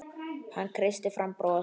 Hann kreisti fram bros.